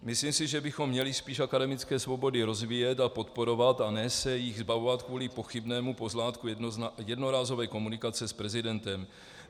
Myslím si, že bychom měli spíš akademické svobody rozvíjet a podporovat a ne se jich zbavovat kvůli pochybnému pozlátku jednorázové komunikace s prezidentem.